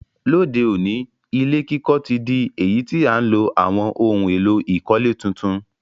Lóde òní, ilé kíkọ́ ti dí èyí ti a ti n lo àwon oun èló ìkọ́lé tuntun